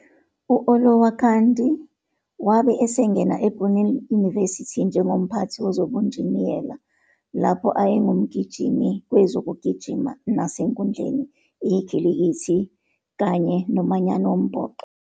U-Olowokandi wabe esengena eBrunel University njengomphathi wezobunjiniyela, lapho ayengumgijimi kwezokugijima nasenkundleni, ikhilikithi, kanye nomanyano wombhoxo.